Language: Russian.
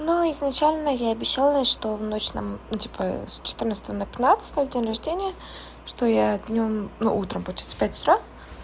но изначально я обещала что в ночь на ну типа с четырнадцатое на пятнадцатое в день рождения что я днём ну утром получается в пять утра